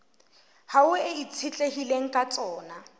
hao e itshetlehileng ka tsona